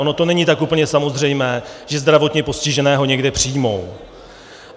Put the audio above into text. Ono to není tak úplně samozřejmé, že zdravotně postiženého někde přijmou.